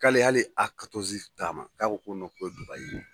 K'ale hali A d'a ma k'a ko ko Dubayi.